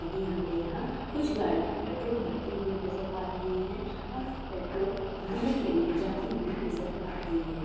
ये हमें यहाँ कुछ गाड़ियां पेट्रोल भरते हुई नज़र आ रही है और पेट्रोल भरने के लिए जाती हुई नज़र आ रही है।